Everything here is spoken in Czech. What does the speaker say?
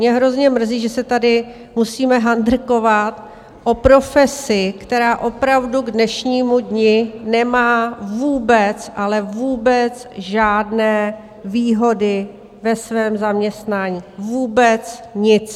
Mě hrozně mrzí, že se tady musíme handrkovat o profesi, která opravdu k dnešnímu dni nemá vůbec, ale vůbec žádné výhody ve svém zaměstnání, vůbec nic.